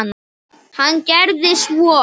Hann gerði svo.